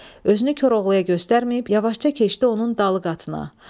Özünü Koroğluya göstərməyib, yavaşca keçdi onun dalıqatına.